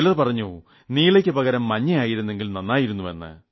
ചിലർ പറഞ്ഞു നീലയ്ക്ക് പകരം മഞ്ഞയായിരുന്നെങ്കിൽ നന്നായിരുന്നെന്ന്